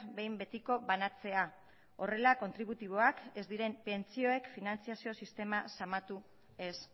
behin betiko banatzea horrela kontributiboak ez diren pentsioek finantziazio sistema zamatu ez